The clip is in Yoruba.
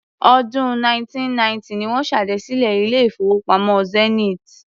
Ọdún 1990 ni wọ́n ṣèdásílẹl ilé-ìfowópamọ́ Zenith.